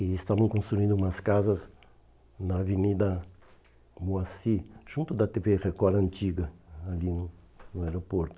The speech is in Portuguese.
E estavam construindo umas casas na Avenida Moacir, junto da tê vê Record antiga, ali no aeroporto.